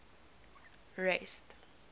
rest